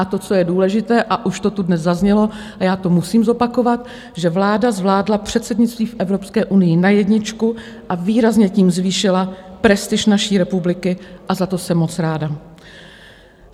A to, co je důležité, a už to tu dnes zaznělo a já to musím zopakovat, že vláda zvládla předsednictví v Evropské unii na jedničku, a výrazně tím zvýšila prestiž naší republiky a za to se moc ráda.